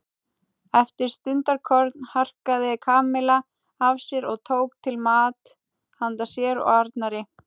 Eftir stundarkorn harkaði Kamilla af sér og tók til mat handa sér og Arnari.